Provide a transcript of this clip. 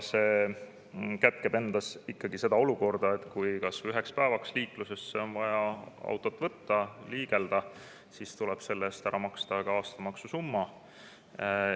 See kätkeb endas seda olukorda, et kui on kas või üheks päevaks vaja auto liiklusesse viia, et liigelda, siis tuleb selle eest ära maksta ka aastamaks.